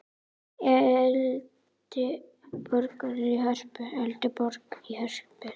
Eldborg í Hörpu.